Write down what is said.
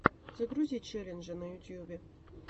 загрузи челленджи на ютубе